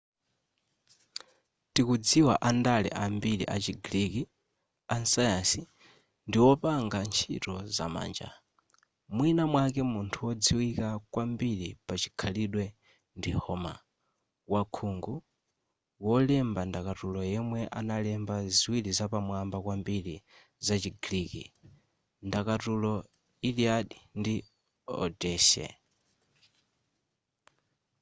tikudziwa andale ambiri achi greek asayansi ndi wopanga ntchito za manja mwina mwake munthu wodziwika kwambiri pachikhalidwe ndi homer wakhungu wolemba ndakatulo yemwe analemba ziwiri zapamwamba kwambiri zachi greek ndakatulo iliad ndi odyssey